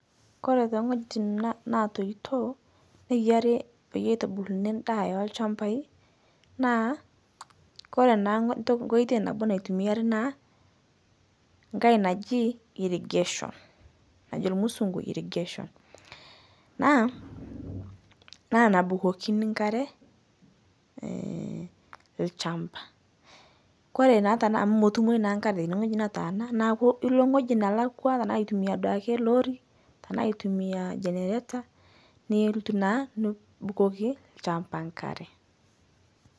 Kore teng'hojin notoitoo neyarii peyie eitubuluni ndaa elchampai naa Kore naa nkoitei nabo naitumiari naa ng'hai naji irrigation, najo lmusungu irrigation naa nabukokinii nkaree lchampaa, Kore naa anaa motumoi naa nkaree teinie nataana naaku ilo ng'hoji nalakwa tanaa aitumia duake lorry tanaa aitumia generator nilotuu naa nubukokii lchampa nkaree.